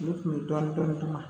Ne kun bɛ dɔɔnin dɔɔnin d'u ma